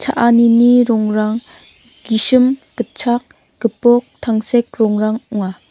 cha·anini rongrang gisim gitchak gipok tangsek rongrang ong·a.